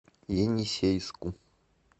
енисейску